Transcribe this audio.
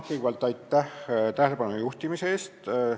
Kõigepealt aitäh tähelepanu juhtimise eest!